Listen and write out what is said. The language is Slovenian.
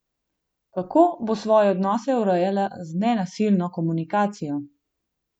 Kako bo svoje odnose urejala z nenasilno komunikacijo?